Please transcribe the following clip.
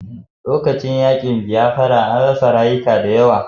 Lokacin yaƙin bayafra an rasa rayuka da yawa